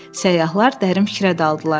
Səyyahlar dərin fikrə daldılar.